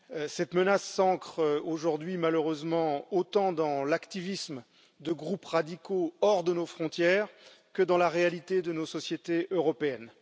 Cette menace s'ancre aujourd'hui, malheureusement, autant dans l'activisme de groupes radicaux hors de nos frontières que dans la réalité de nos sociétés européennes.